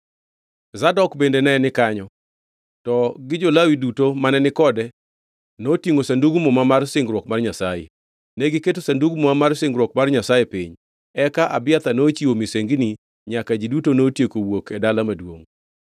Zadok bende ne ni kanyo to gi jo-Lawi duto mane ni kode notingʼo Sandug Muma mar singruok mar Nyasaye. Negiketo Sandug Muma mar singruok mar Nyasaye piny, eka Abiathar nochiwo misengini nyaka ji duto notieko wuok e dala maduongʼ.